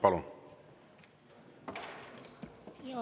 Palun!